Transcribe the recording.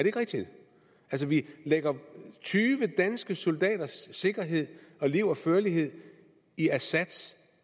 ikke rigtigt vi lægger tyve danske soldaters sikkerhed og liv og førlighed i assads